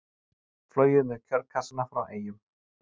Flogið með kjörkassa frá Eyjum